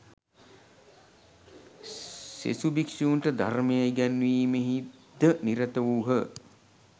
සෙසු භික්‍ෂූන්ට ධර්මය ඉගැන්වීමෙහි ද නිරත වූහ